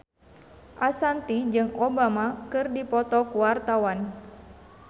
Ashanti jeung Obama keur dipoto ku wartawan